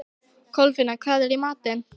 Kolfinna, hvað er í matinn?